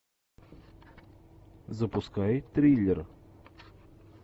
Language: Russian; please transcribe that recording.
запускай триллер